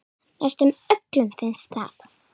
Næstum öllum finnst það.